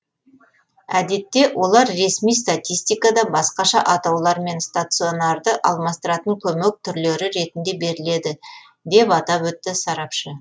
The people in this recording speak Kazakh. әдетте олар ресми статистикада басқаша атаулармен стационарды алмастыратын көмек түрлері ретінде беріледі деп атап өтті сарапшы